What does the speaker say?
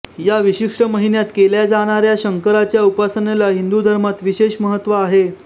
या विशिष्ट महिन्यात केल्या जाणाऱ्या शंकराच्या उपासनेला हिंदू धर्मात विशेष महत्त्व आहे